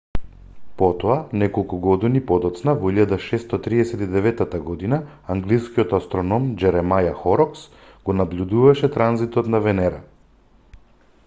потоа неколку години подоцна во 1639 г англискиот астроном џеремаја хорокс го набљудуваше транзитот на венера